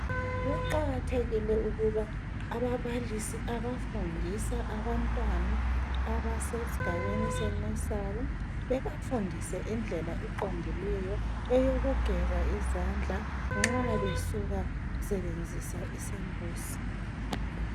Kuqakathekile ukuba ababalisi abafundisa abantwana abasesigabeni senursery, bebafundise indlela eqondileyo eyokugeza izandla nxa besuka sebenzisa isambuzi.